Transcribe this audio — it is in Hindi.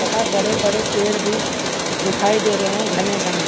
तथा बड़े-बड़े पेड़ भी दिखाई दे रहे हैं घने-घने --